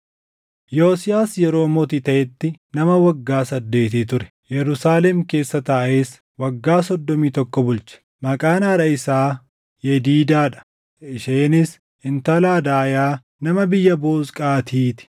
Yosiyaas yeroo mootii taʼetti nama waggaa saddeetii ture; Yerusaalem keessa taaʼees waggaa soddomii tokko bulche. Maqaan haadha isaa Yediidaa dha; isheenis intala Adaayaa nama biyya Boozqaatii ti.